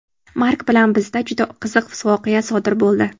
Mark bilan bizda juda qiziq voqea sodir bo‘ldi.